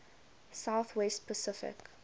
south west pacific